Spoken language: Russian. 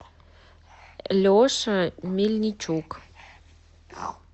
леша мельничук